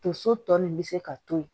Tonso tɔ nin be se ka to yen